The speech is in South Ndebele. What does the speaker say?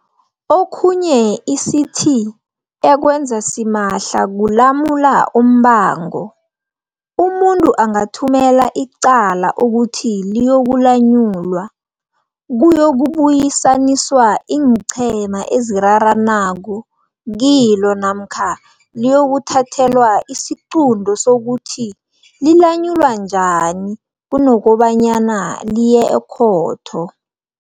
Okhunye i-CT ekwenza simahla kulamula umbango. Umuntu angathumela icala ukuthi liyokulanyulwa, kuyokubuyisaniswa iinqhema eziraranako kilo namkha liyokuthathelwa isiqunto sokuthi lilanyulwa njani, kunobanyana liye ekhotho.